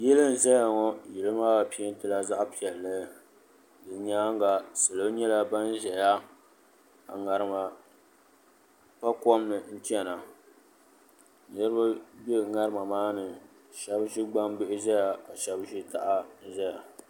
Yili n-zaya ŋɔ yili maa peentila zaɣ'piɛlli di nyaaŋa salo nyɛla ban ʒeya ka ŋarima pa kom ni n-chana niriba be ŋarima maa ni shɛba ʒi gbambihi ʒeya ka shɛba ʒi taha ʒeya.